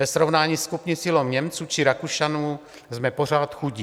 Ve srovnání s kupní sílou Němců či Rakušanů jsme pořád chudí.